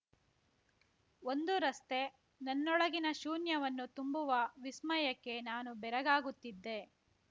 ಒಂದು ರಸ್ತೆ ನನ್ನೊಳಗಿನ ಶೂನ್ಯವನ್ನು ತುಂಬುವ ವಿಸ್ಮಯಕ್ಕೆ ನಾನು ಬೆರಗಾಗುತ್ತಿದ್ದೆ